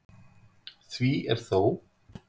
Því er þó